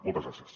moltes gràcies